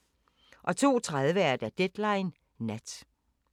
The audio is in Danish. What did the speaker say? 02:30: Deadline Nat